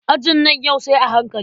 Ajin nan yau sai a hankali.